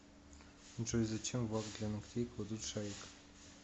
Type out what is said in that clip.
джой зачем в лак для ногтей кладут шарик